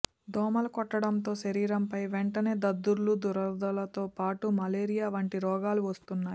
దోమలు కొట్టడంతో శరీరంపై వెంటనే దద్దుర్లు దురదలతో పాటు మలేరియా వంటి రోగాలు వస్తున్నాయి